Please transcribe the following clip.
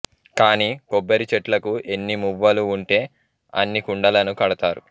కాని కొబ్బరి చెట్లకు ఎన్ని మువ్వలు వుంటే అన్ని కుండలను కడతారు